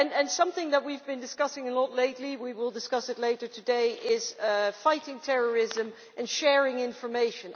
Something that we have been discussing a lot lately, and we will discuss it later today, is fighting terrorism and sharing information.